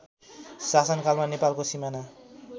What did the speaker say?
शासनकालमा नेपालको सिमाना